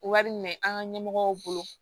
Wari minɛ an ka ɲɛmɔgɔw bolo